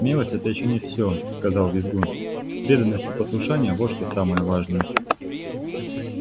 смелость это ещё не всё сказал визгун преданность и послушание вот что самое важное